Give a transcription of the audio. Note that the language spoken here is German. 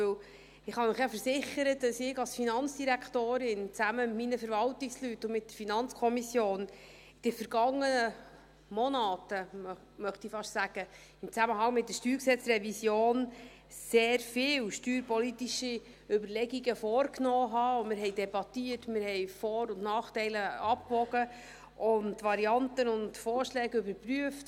Denn ich kann Ihnen ja versichern, dass ich als Finanzdirektorin, zusammen mit meinen Verwaltungsleuten und der FiKo, in den vergangenen Monaten, möchte ich fast sagen, in Zusammenhang mit der StG-Revision sehr viel steuerpolitische Überlegungen gemacht habe, und wir haben debattiert, wir haben Vor- und Nachteile abgewogen und Varianten und Vorschläge überprüft.